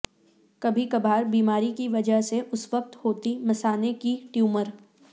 کبھی کبھار بیماری کی وجہ سے اس وقت ہوتی مثانے کے ٹیومر